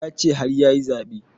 Ya ce har yayi zaɓe